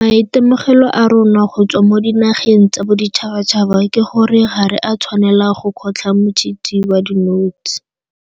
Maitemogelo a rona go tswa mo dinageng tsa boditšhabatšhaba ke gore ga re a tshwanela go kgotlha motshitshi wa dinotshe.